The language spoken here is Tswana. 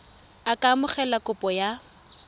a ka amogela kopo ya